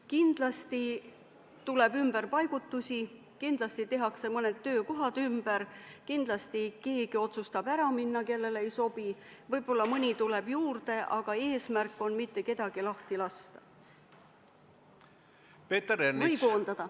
Kindlasti tuleb ümberpaigutusi, kindlasti tehakse mõned töökohad ümber, kindlasti keegi otsustab ära minna, kui kellelegi uus töökorraldus ei sobi, võib-olla mõni tuleb juurde, aga eesmärk on mitte kedagi lahti lasta või koondada.